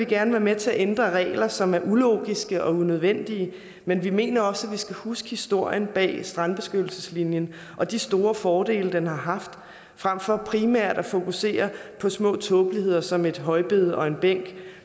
gerne være med til at ændre regler som er ulogiske og unødvendige men vi mener også at man skal huske historien bag strandbeskyttelseslinjen og de store fordele den har haft frem for primært at fokusere på små tåbeligheder som et højbed eller en bænk